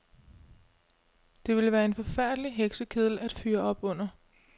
Det ville være en forfærdelig heksekedel at fyre op under.